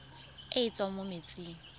e e tswang mo metsing